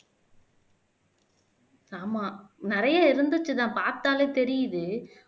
ஆமா நிறைய இருந்துச்சுதான் பார்த்தாலே தெரியுது